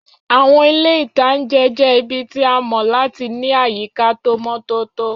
Àwọn ilé-ìtánjẹ jẹ́ ibi tí a mọ̀ láti ní àyíká tó mọ́ tótó